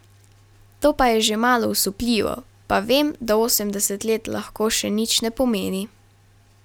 To pa je že malo osupljivo, pa vem, da osemdeset let lahko še nič ne pomeni.